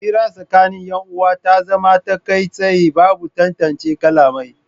Hira tsakanin yan uwa tana zama ta kai tsaye babu tantance kalamai